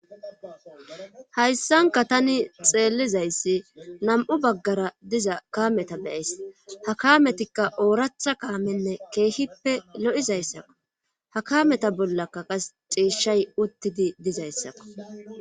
Hayssanka tani xeellizayssi nam'u baggara diza kameta beyays ha kametikka ooratha kaamenne keehippe lo'izayssakku ha kameta bollaka qas ciishay uttidi dizayssakko'